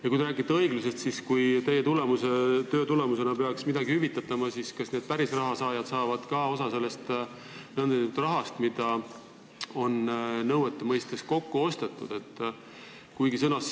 Ja kui te räägite õiglusest, siis kui teie töö tulemusena peaks midagi hüvitatama, siis kas need pärisraha saajad saavad ka osa sellest nn rahast, mida on nõuetena kokku ostetud?